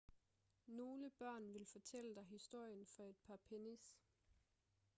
nogle børn vil fortælle dig historien for et par pennies